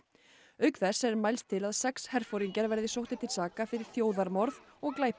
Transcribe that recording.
auk þess er mælst til að sex herforingjar verði sóttir til saka fyrir þjóðarmorð og glæpi